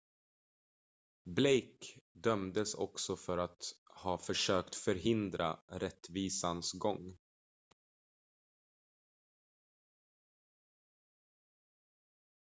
blake dömdes också för att ha försökt förhindra rättvisans gång